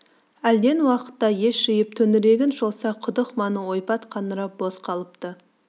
әлден уақытта ес жиып төңірегін шолса құдық маңы ойпат қаңырап бос қалыпты